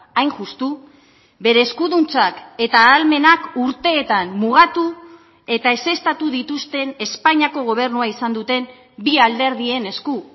hain justu bere eskuduntzak eta ahalmenak urteetan mugatu eta ezeztatu dituzten espainiako gobernua izan duten bi alderdien esku